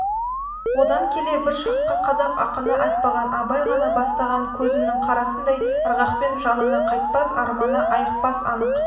одан келе бір шақта қазақ ақыны айтпаған абай ғана бастаған көзімнің қарасындай ырғақпен жалыны қайтпас арманы айықпас анық